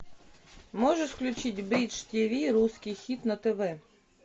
можешь включить бридж тв русский хит на тв